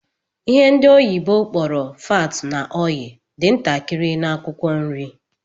Ihe ndi oyibo kpororo 'fat na oil' dị ntakịrị na Akwụkwọ nri